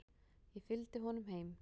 Ég fylgdi honum heim.